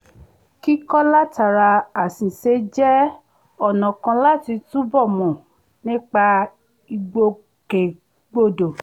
kíkọ́ látara àṣìṣe jẹ́ ọ̀nà kan láti túbọ̀ mọ̀ nípa ìgbòkègbodò